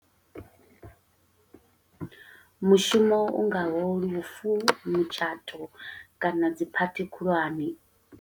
Mushumo u ngaho lufu, mutshato, kana dzi phathi khulwane.